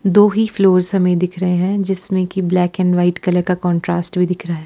दो ही फ्लोर्स हमे दिख रहे हैं जिसमें की ब्लैक एंड व्हाइट कलर का कंट्रास्ट भी दिख रहा है।